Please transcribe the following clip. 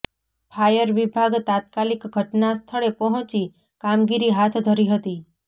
fire વીભાગ તાત્કાલિક ઘટના સ્થળે પોહચી કામગીરી હાથ ધરી હતી